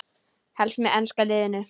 Helst með enska liðinu.